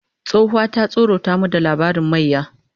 Tsohuwa ta tsorata mu da labarin mayya